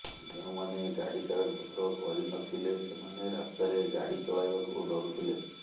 ଯେଉଁମାନେ ଗାଡି କାଗଜ ପତ୍ର କରିନଥିଲେ ସେମାନେ ରାସ୍ତାରେ ଗାଡି ଚଳାଇବାକୁ ଡରୁଥିଲେ